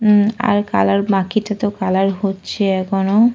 হুম আর কালার বাকিটাতো কালার হচ্ছে এখনো।